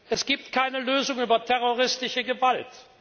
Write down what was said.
Es gibt keine Lösung über terroristische Gewalt!